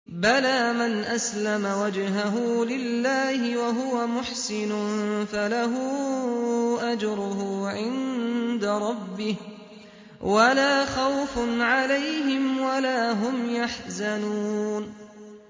بَلَىٰ مَنْ أَسْلَمَ وَجْهَهُ لِلَّهِ وَهُوَ مُحْسِنٌ فَلَهُ أَجْرُهُ عِندَ رَبِّهِ وَلَا خَوْفٌ عَلَيْهِمْ وَلَا هُمْ يَحْزَنُونَ